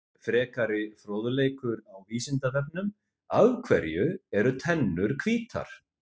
Frekari fróðleikur á Vísindavefnum: Af hverju eru tennur hvítar?